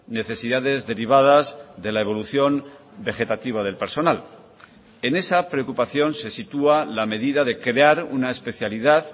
necesidades derivadas de la evolución vegetativa del personal en esa preocupación se sitúa la medida de crear una especialidad